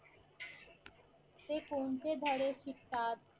ते कोणते धडे शिकतात